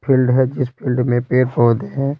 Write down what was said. Field है जिस field में पेड़ पौधे हैं।